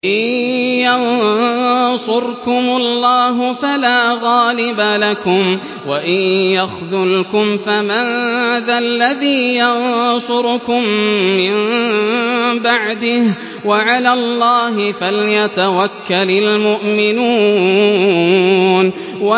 إِن يَنصُرْكُمُ اللَّهُ فَلَا غَالِبَ لَكُمْ ۖ وَإِن يَخْذُلْكُمْ فَمَن ذَا الَّذِي يَنصُرُكُم مِّن بَعْدِهِ ۗ وَعَلَى اللَّهِ فَلْيَتَوَكَّلِ الْمُؤْمِنُونَ